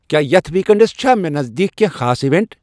کیا یتھ weekends چھا مے نزدیک کینٛہہ خاص ایوینٹہٕ ؟